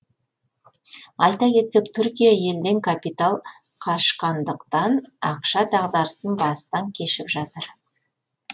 айта кетсек түркия елден капитал қашқандықтан ақша дағдарысын бастан кешіп жатыр